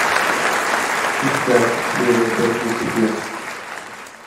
искать серия пять люцифер